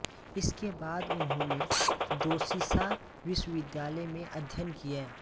इसके बाद उन्होंने दोशीशा विश्वविद्यालय में अध्ययन किया